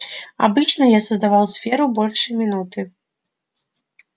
обычно я создавал сферу больше минуты